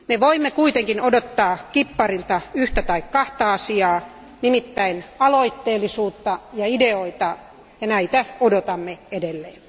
Me voimme kuitenkin odottaa kipparilta yhtä tai kahta asiaa, nimittäin aloitteellisuutta ja ideoita, ja näitä odotamme edelleen.